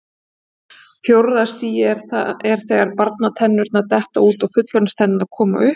Fjórða stigið er þegar barnatennurnar detta út og fullorðinstennurnar koma upp.